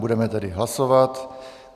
Budeme tedy hlasovat.